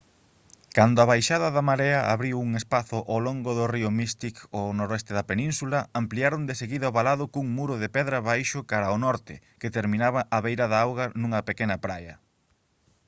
cando a baixada da marea abriu un espazo ao longo do río mystic ao noroeste da península ampliaron deseguida o valado cun muro de pedra baixo cara ao norte que terminaba á beira da auga nunha pequena praia